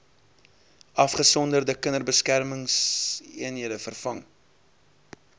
afgesonderde kinderbeskermingseenhede vervang